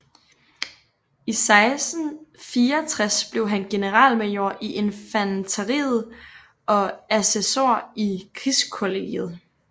I 1664 blev han generalmajor i infanteriet og assessor i krigskollegiet